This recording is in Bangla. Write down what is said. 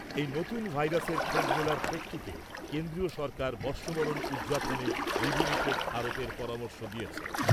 এই নতুন ভাইরাসের খোঁজ মেলার প্রেক্ষিতে কেন্দ্রীয় সরকার বর্ষবরণ উদযাপনে বিধিনিষেধ আরোপের পরামর্শ দিয়েছে।